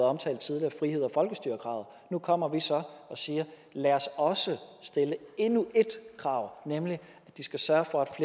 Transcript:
omtalt tidligere friheds og folkestyrekravet nu kommer vi så og siger lad os stille endnu et krav nemlig at de skal sørge for at